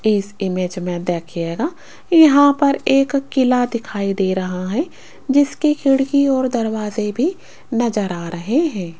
इस इमेज में देखिएगा यहां पर एक किला दिखाई दे रहा है जिसकी खिड़की और दरवाजे भी नजर आ रहे हैं।